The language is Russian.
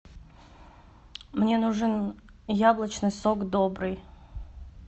мне нужен яблочный сок добрый